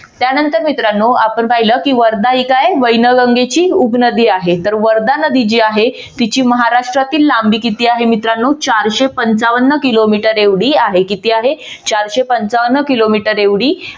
त्यानंतर मित्रानो आपण पाहिलं की वर्धा ही काय आहे वैनगंगेची उपनदी आहे. तर वर्धा नदी जी आहे तीची महाराष्ट्रातील लांबी किती आहे? मित्रांनो चारशे पंचावन्न किलोमीटर एवढी आहे. किती आहे? चारशे पंचावन्न किलोमीटर एवढी